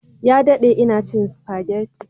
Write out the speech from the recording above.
Ya dade ina cin spaghetti